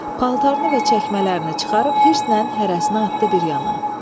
Paltarını və çəkmələrini çıxarıb hirslə hərəsinə atdı bir yana.